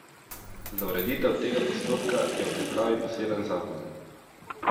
Za ureditev tega postopka je v pripravi poseben zakon.